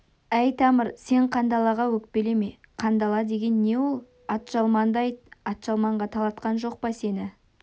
әй тамыр сен қандалаға өкпелеме қандала деген не ол атжалманды айт атжалманға талатқан жоқ па сені